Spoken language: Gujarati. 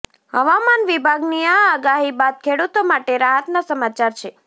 હવામાન વિભાગની આ આગાહી બાદ ખેડૂતો માટે રાહતનાં સમાચાર છે